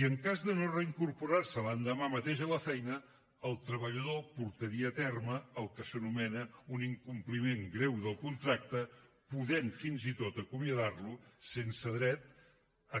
i en cas de no reincorporar se l’endemà mateix a la feina el treballador portaria a terme el que s’anomena un incompliment greu del contracte podent fins i tot acomiadar lo sense dret